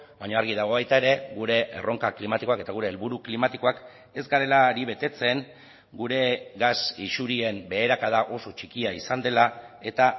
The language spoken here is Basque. baina argi dago baita ere gure erronkak klimatikoak eta gure helburu klimatikoak ez garela ari betetzen gure gas isurien beherakada oso txikia izan dela eta